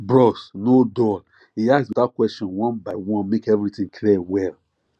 bros no dull e ask beta question one by one make everything clear well